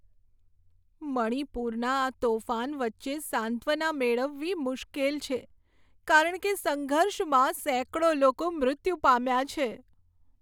મણિપુરના આ તોફાન વચ્ચે સાંત્વના મેળવવી મુશ્કેલ છે કારણ કે સંઘર્ષમાં સેંકડો લોકો મૃત્યુ પામ્યાં છે.